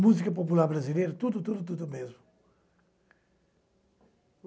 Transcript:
Música popular brasileira, tudo, tudo, tudo mesmo.